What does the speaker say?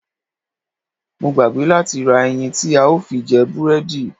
Mo gbàgbé láti ra ẹyin tí a ó fi jẹ búrẹ́dì.